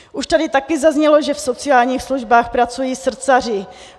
Už tady také zaznělo, že v sociálních službách pracují srdcaři.